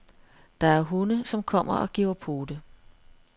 Der er hunde, som kommer og giver pote.